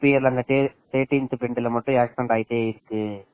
எதோ Thirteen அன்னைக்கு மட்டும் accident ஆகிகிட்டே இருக்கு அப்படின்னு